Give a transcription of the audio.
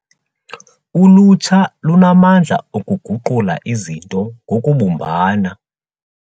Ulutsha lunamandla okuguqula izinto ngokubumbana.